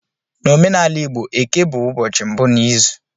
N'omenala igbo Eke bụ ụbọchị mbụ n'izu